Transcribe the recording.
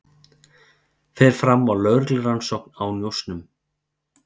Fer fram á lögreglurannsókn á njósnum